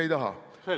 Ei taha.